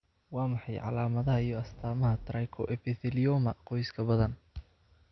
Waa maxay calaamadaha iyo astaamaha Trichoepithelioma qoyska badan?